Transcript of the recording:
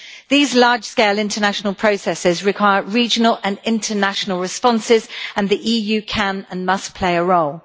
These large scale international processes require regional and international responses, and the EU can and must play a role.